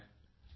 नमस्कार